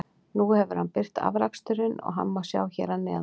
Nú hefur hann birt afraksturinn og hann má sjá hér að neðan.